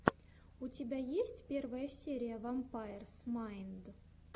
у тебя есть первая серия вампайрс майнд